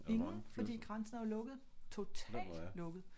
Ingen fordi grænsen er jo lukket totalt lukket